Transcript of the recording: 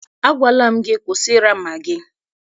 Agwala m gị, kwụsị ịracha magị!